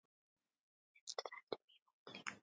Það er tvennt mjög ólíkt.